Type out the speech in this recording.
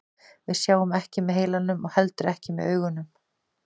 Við sjáum ekki með heilanum og heldur ekki með augunum.